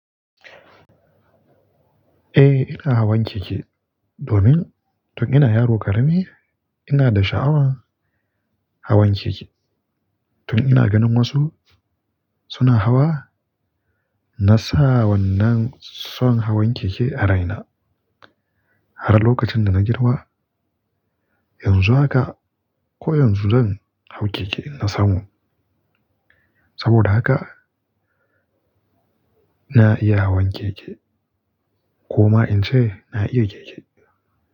Eh, ina hawan keke. Domin tun ina yaro ƙarami ina da sha'awan hawan keke. Tun ina ganin wasu suna hawa, na sa wannan son hawan keke a raina. Har lokacin da na girma, yanzu haka ko yanzu zan hau keke in na samu. Saboda haka na iya hawan keke ko ma in ce na iya keke.